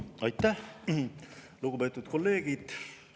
Aitäh, lugupeetud kolleegid!